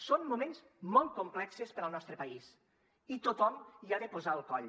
són moments molt complexos per al nostre país i tothom hi ha de posar el coll